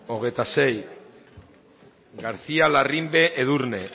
hogeita sei garcía larrimbe edurne